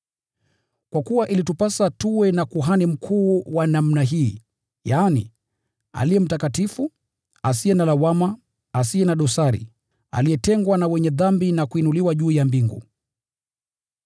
Kwa kuwa ilitupasa tuwe na Kuhani Mkuu wa namna hii, yaani, aliye mtakatifu, asiye na lawama, asiye na dosari, aliyetengwa na wenye dhambi na kuinuliwa juu ya mbingu.